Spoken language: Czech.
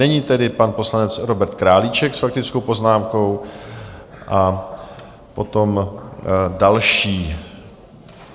Nyní tedy pan poslanec Robert Králíček s faktickou poznámkou a potom další.